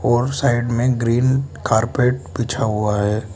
और साइड में green carpet बिछा हुआ है।